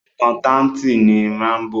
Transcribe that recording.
Àkántàntì ni Rámbò.